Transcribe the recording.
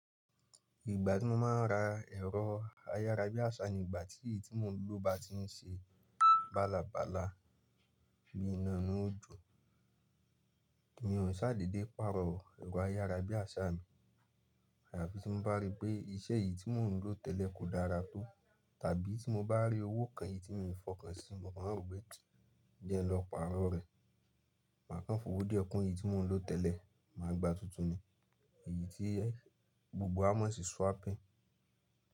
Ìgbà tí mo máa ń ra ẹ̀rọ ayára bí àsá ni ìgbà tí tí mo lò bá tí ń ṣe bálabàla bíi iná inú òjò. Kíni òun ṣàdédé pàrọ̀ ẹ̀rọ ayára bí àsá mi, àyàfi tí mo bá rí pé iṣẹ́ yìí tí mò ń lò tẹ́lẹ̀ kò dára tó. Tàbí tí mo bá rí owó kan yìí tí mo lè fọkàn sí, mo máa ro pé jẹ̀ n lọ pàrọ̀ rẹ̀. Màá kàn fòwó díẹ̀ kún èyí tí mò ń lò tẹ́lẹ̀, màá gba tuntun ni èyí tí gbogbo wa máa sì swapping.